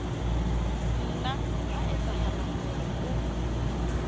nna ha etsahala hore o